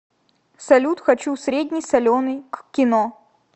салют хочу средний соленый к кино